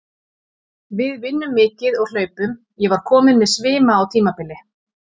Við vinnum mikið og hlaupum, ég var kominn með svima á tímabili.